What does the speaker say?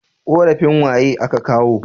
Korafin waye a ka kawo